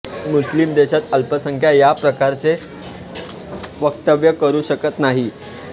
मुस्लिम देशात अल्पसंख्याक या प्रकारचे वक्तव्य करू शकत नाही